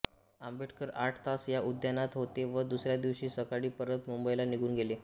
आंबेडकर आठ तास या उद्यानात होते व दुसऱ्या दिवशी सकाळी परत मुंबईला निघून गेले